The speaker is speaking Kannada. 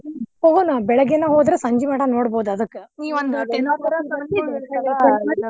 ಹೋಗೋಣ ಬೆಳಿಗ್ಗೆನ ಹೋದ್ರ್ ಸಂಜಿಮಟಾ ನೋಡಬೋದ್ ಅದಕ್ಕ್ ನೀವು ಒಂದು ten .